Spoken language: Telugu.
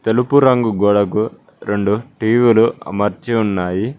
తెలుపు రంగు గోడకు రెండు టీవీలు అమర్చి ఉన్నాయి.